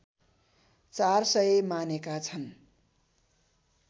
४०० मानेका छन्